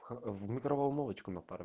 в микроволновочку на пару